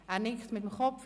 – Er nickt mit dem Kopf.